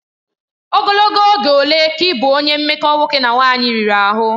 Ogologo oge ole ka ị bụ onye mmekọ nwoke na nwanyị riri ahụ?